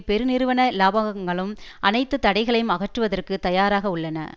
பெருநிறுவன இலபாங்களும் அனைத்து தடைகளையும் அகற்றுவதற்கு தயாராக உள்ளன